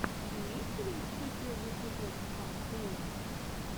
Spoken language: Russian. имеется ли у тебя первый эпизод хард плэя